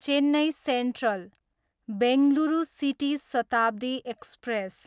Chennai central, Bengaluru city Shatabdi express